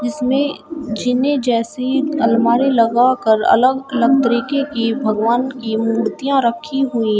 जिसमे जीने जैसी अलमारी लगाकर अलग-अलग तरीके की भगवान की मूर्तियां रखी हुई --